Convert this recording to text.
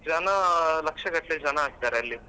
ಜನ ಲಕ್ಷಗಟ್ಟಲೆ ಜನ ಆಗ್ತಾರೆ ಅಲ್ಲಿ.